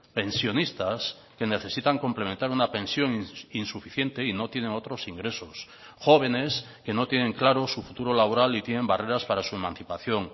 pensionistas que necesitan complementar una pensión insuficiente y no tienen otros ingresos jóvenes que no tienen claro su futuro laboral y tienen barreras para su emancipación